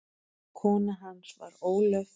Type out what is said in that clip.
Kona hans var Ólöf